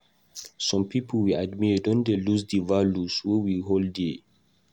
Some pipo wey we admire don lose di values wey we hold dear.